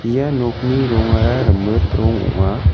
ia nokni rongara rimit rong ong·a.